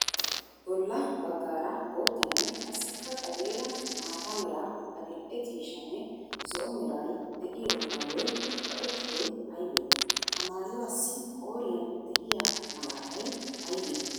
Bolla bagaara boottanne qassikka xadeera maata mera, adi'e ciishshanne zo'o meray de'iyo maayoy kaqettidoy aybe? Ha maayuwaassi qooriyan de'iyaa malatay aybe?